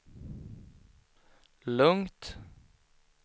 lugnt